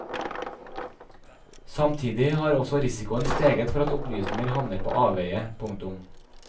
Samtidig har også risikoen steget for at opplysninger havner på avveie. punktum